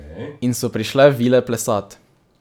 In so prišle vile plesat.